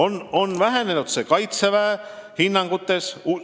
See on vähenenud Kaitseväele antavates hinnangutes.